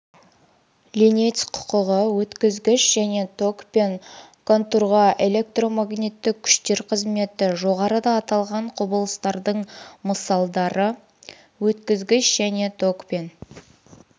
ленец құқығы өткізгіш және токпен контурға электромагниттік күштер қызметі жоғарыда аталған құбылыстардың мысалдары өткізгіш және токпен